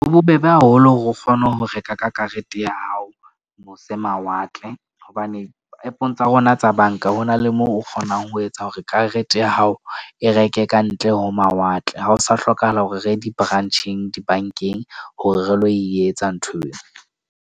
Ho bobebe haholo hore o kgone ho reka ka karete ya hao mose mawatle. Hobane app-ong tsa rona tsa bank-a ho na le moo o kgonang ho etsa hore karete ya hao e reke kantle ho mawatle. Ha o sa hlokahala hore re ye di-branch-eng di-bank-eng, hore re lo etsa nthweo.